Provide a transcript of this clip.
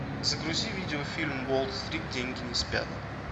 загрузи видеофильм уолл стрит деньги не спят